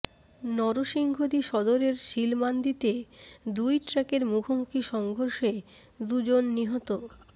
নরসিংদী সদরের শিলমান্দিতে দুই ট্রাকের মুখোমুখি সংঘর্ষে দুজন নিহত